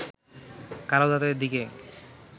কালো দাঁতের দিকে